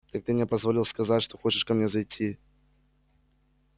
так ты мне позволил сказать что хочешь ко мне зайти